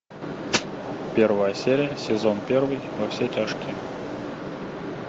первая серия сезон первый во все тяжкие